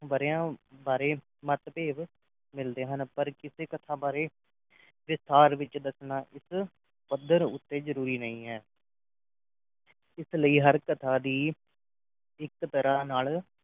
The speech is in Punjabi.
ਵਰ੍ਹਿਆਂ ਬਾਰੇ ਮਤਭੇਦ ਮਿਲਦੇ ਹਨ ਪਰ ਕਿਸੇ ਕਥਾ ਬਾਰੇ ਵਿਸਥਾਰ ਵਿੱਚ ਦੱਸਣਾ ਇਸ ਪੱਧਰ ਉੱਤੇ ਜਰੂਰੀ ਨਹੀਂ ਹੈ ਇਸ ਲਈ ਹਰ ਕਥਾ ਦੀ ਇਕ ਤਰ੍ਹਾਂ ਨਾਲ